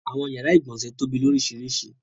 Awọn yara igbọnsẹ̀ tóbi lóriṣiríṣi.